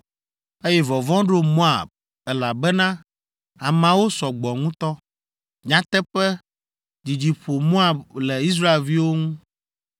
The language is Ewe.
eye vɔvɔ̃ ɖo Moab, elabena ameawo sɔ gbɔ ŋutɔ. Nyateƒe, dzidzi ƒo Moab le Israelviwo ŋu.